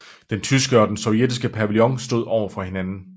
Den tyske og den sovjetiske pavillon stod over for hinanden